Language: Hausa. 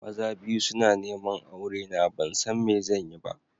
Maza biyu suna neman aurena ban san me zan yi ba.